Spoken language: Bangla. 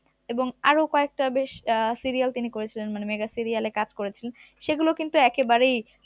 এবং আরো কয়েকটা বেশ আহ serial তিনি করেছিলেন মানে mega serial এ কাজ করেছেন সেগুলো কিন্তু একেবারেই